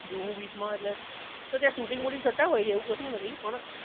જુહુ beach માં હોય એટલે જો ત્યાં શૂટિંગ બૂટિંગ થતાં હોય છે એવું કશું નથી પણ